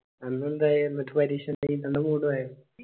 അന്ന്‌ ഇന്റെ എന്നിട്ട് പരീക്ഷ എന്തായി. രണ്ടാമത്